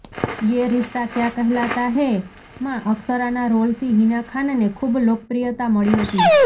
યે રિશ્તા ક્યા કહેલાતા હૈમાં અક્ષરાના રોલથી હિના ખાનને ખૂબ લોકપ્રિયતા મળી હતી